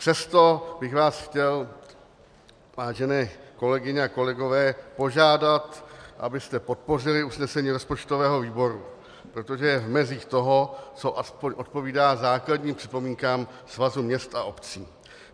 Přesto bych vás chtěl, vážené kolegyně a kolegové, požádat, abyste podpořili usnesení rozpočtového výboru, protože je v mezích toho, co aspoň odpovídá základním připomínkám Svazu měst a obcí.